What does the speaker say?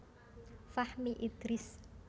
Fahmi Idris